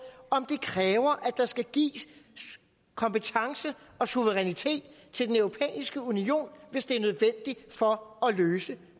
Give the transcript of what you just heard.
om det kræver at der skal gives kompetence og suverænitet til den europæiske union hvis det er nødvendigt for at løse